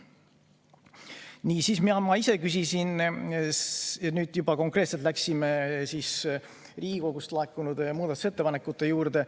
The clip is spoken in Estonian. Nii, ma ise küsisin veel, minnes juba konkreetselt Riigikogust laekunud muudatusettepanekute juurde.